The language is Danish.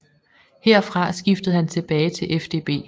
Herfra skiftede han tilbage til FDB